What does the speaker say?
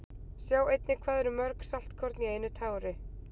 Sjá einnig Hvað eru mörg saltkorn í einu tári?